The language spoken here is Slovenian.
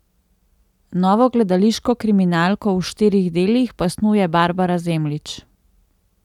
Novo gledališko kriminalko v štirih delih pa snuje Barbara Zemljič.